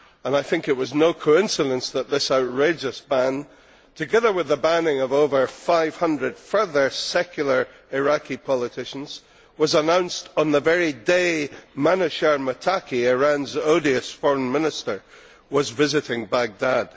I think it was no coincidence that this outrageous ban, together with the banning of over 500 further secular Iraqi politicians, was announced on the very day Manouchehr Mottaki, Iran's odious Foreign Minister, was visiting Baghdad.